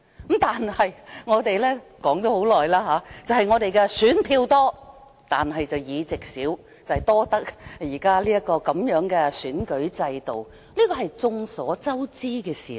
不過，我們很久前已指出，雖然我們選票多，但擁有的議席少，這是現時的選舉制度所致，這也是眾所周知的事實。